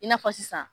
I n'a fɔ sisan